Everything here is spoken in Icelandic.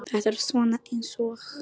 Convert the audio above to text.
Þetta er svona eins og.